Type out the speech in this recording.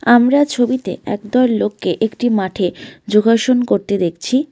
আমরা ছবিতে একদল লোককে একটি মাঠে যোগাসন করতে দেখছি।